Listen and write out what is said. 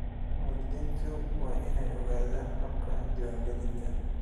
Waalidiintu waa inay ogaadaan habka diiwaangelinta.